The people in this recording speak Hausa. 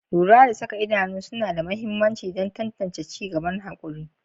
Lura da saka idanu suna da mahimmanci don tantance ci gaban haƙuri.